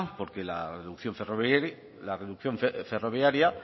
porque la reducción ferroviaria